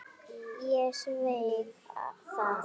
Ég sveik það.